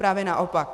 Právě naopak!